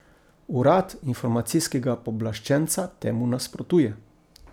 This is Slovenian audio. Urad informacijskega pooblaščenca temu nasprotuje.